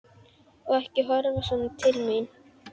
Og ekki horfa svona til mín!